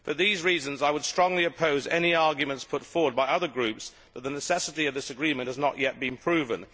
For these reasons I would strongly oppose any arguments put forward by other groups claiming that the necessity of this agreement has not yet been proven.